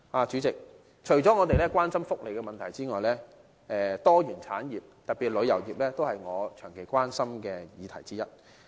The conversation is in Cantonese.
主席，除了福利的問題外，多元產業，特別是旅遊業，也是我長期關心的議題之一。